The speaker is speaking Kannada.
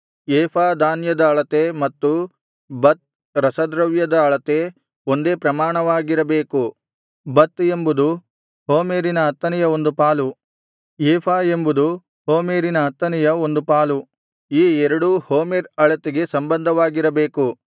ಏಫಾ ಧಾನ್ಯದ ಅಳತೆ ಮತ್ತು ಬತ್ ರಸದ್ರವ್ಯದ ಅಳತೆ ಒಂದೇ ಪ್ರಮಾಣವಾಗಿರಬೇಕು ಬತ್ ಎಂಬುದು ಹೋಮೆರಿನ ಹತ್ತನೆಯ ಒಂದು ಪಾಲು ಏಫಾ ಎಂಬುದು ಹೋಮೆರಿನ ಹತ್ತನೆಯ ಒಂದು ಪಾಲು ಈ ಎರಡೂ ಹೋಮೆರ್ ಅಳತೆಗೆ ಸಂಬಂಧವಾಗಿರಬೇಕು